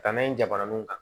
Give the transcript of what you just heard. Ka taa n'a ye jabaraniw kan